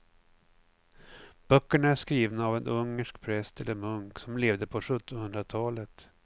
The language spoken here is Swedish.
Böckerna är skrivna av en ungersk präst eller munk som levde på sjuttonhundratalet.